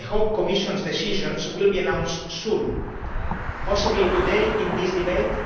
I hope the Commission's decisions will be announced soon, possibly today in this debate.